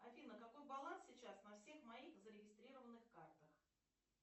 афина какой баланс сейчас на всех моих зарегистрированных картах